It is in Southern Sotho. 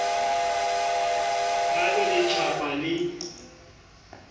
ha le re tjhapa le